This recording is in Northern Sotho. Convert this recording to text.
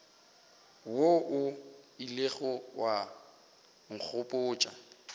wo o ilego wa nkgopotša